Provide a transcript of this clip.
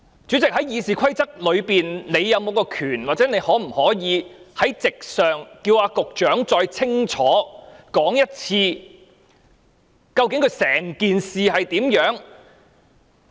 主席，《議事規則》是否賦予你權力，或你可否在席上要求局長再清楚說一次，究竟整件事是怎樣的？